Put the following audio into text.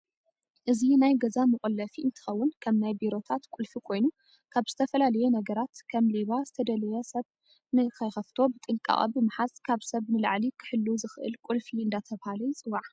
እዚ ናይ ገዛ መቆለፊ እንትከውን ከም ናይ ብሮታት ቁልፊ ኮይኑ ከብ ዝተፈላለየ ነገረት ከም ሌባ፣ ዝተደለየ ሰብ ነክይከፋቶ ብጠንቃቀ ብምሓዝ ካብ ሰብ ንላዕሊ ክሐሉ ዝክእል ቁልፊ አዳተባሃለ ይፅዋዐ።